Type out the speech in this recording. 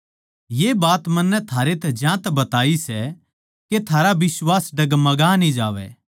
ये बात मन्नै थारैतै ज्यांतै बताई सै के थारा बिश्वास डगमगा न्ही जावै